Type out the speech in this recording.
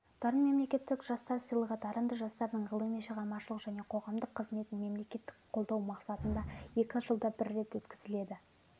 дарын мемлекеттік жастар сыйлығы дарынды жастардың ғылыми шығармашылық және қоғамдық қызметін мемлекеттік қолдау мақсатында екі жылда бір рет өткізіледі